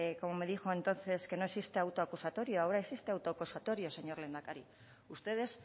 como me dijo entonces que no existe auto acusatorio ahora existe auto acusatorio señor lehendakari ustedes